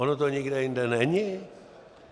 Ono to nikde jinde není.